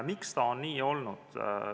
Miks see on nii olnud?